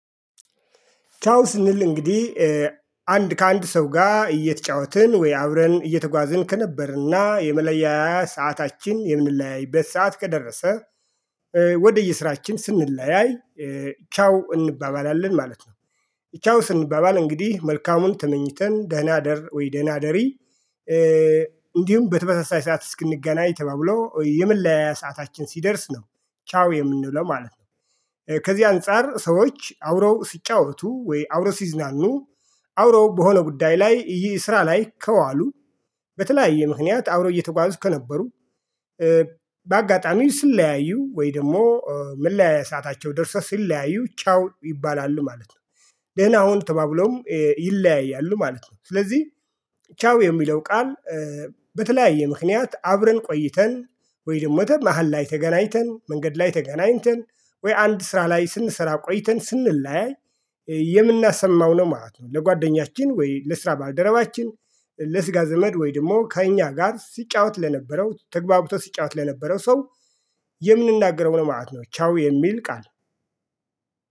ቻው ስንል እንግዲህ አንድ ከአንድ ሰው ጋር እየተጫወትን ወይ አብረን እየተጓዝን። ከነበርና የመለያያ ሰዓታችን የምንለያይበት ሰዓት ከደረሰ ወደ የስራችን ስንለያይ ቻው እንባባላለን። ማለት ነው። ቻው ስንባባል እንግዲህ መልካሙን ተመኝተን ደህና ደር! ወይ ደህና ደሪ! እንዲሁም በተመሳሳይ ሰዓት እስክንገናኝ ተባብሎ ወይ የመለያያ ሰዓታችን ሲደርስ ነው ቻው የምንውለው ማለት ነው። ከዚህ አንፃር ሰዎች አውረው ሲጫወቱ ወይ አውሮ ሲዝናኑ አውሮ በሆነ ጉዳይ ላይ ይህ ስራ ላይ ከዋሉ በተለያየ ምክንያት አውሮ እየተጓዙ ከነበሩ በአጋጣሚው ስለያዩ ወይ ደግሞ መለያ ሰአታቸው ደርሰው ሲለያዩ ቻው ይባላሉ ማለት ነው ደህና ሁን ተባብለውም ይለያያሉ ማለት ነው። ስለዚህ ቻው የሚለው ቃል በተለያየ ምክንያት አብረን ቆይተን ወይም ወይም መደ መሃል ላይ ተገናኝተን መንገድ ላይ ተገናኝተን ወይ አንድ ስራ ላይ ስንሰራ ቆይተን ስንለያይ የምናሰማው ነው ማለት ነ። ለጓደኛችን ወይ ለስራ ባልደረባችን ለስጋ ዘመድ ወይ ደግሞ ከእኛ ጋር ሲጫወት ለነበረው ተግባብተህ ሲጫወት ለነበረው ሰው የምንናገረው ነው ማለት ነው ቻው የሚል ቃል